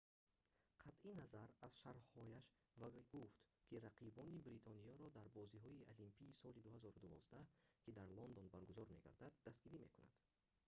қатъи назар аз шарҳҳояш вай гуфт ки рақибони бритониёро дар бозиҳои олимпии соли 2012 ки дар лондон баргузор мегардад дастгирӣ мекунад